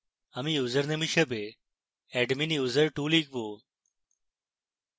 আমি ইউসারনেম হিসাবে adminuser2 লিখব